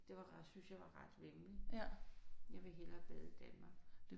Det var ret syntes jeg var ret væmmeligt. Jeg vil hellere bade i Danmark